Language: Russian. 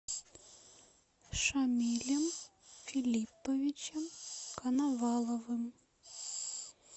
шамилем филипповичем коноваловым